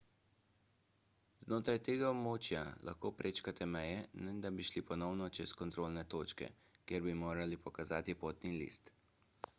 znotraj tega območja lahko prečkate meje ne da bi šli ponovno čez kontrolne točke kjer bi morali pokazati potni list